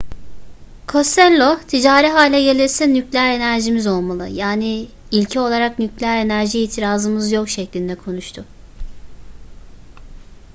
costello ticari hale gelirse nükleer enerjimiz olmalı yani ilke olarak nükleer enerjiye itirazımız yok şeklinde konuştu